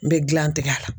N bɛ gilan tigɛ a la